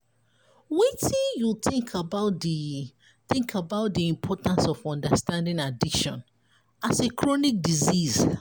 wetin you think about di think about di importance of understanding addiction as a chronic disease?